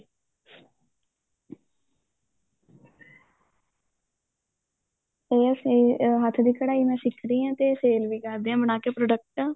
ਉਹ ਫੇਰ ਹੱਥ ਦੀ ਕਢਾਈ ਮੈਂ ਸਿਖਦੀ ਆ ਤੇ sale ਵੀ ਕਰਦੀ ਆ ਬਣਾ ਕੇ product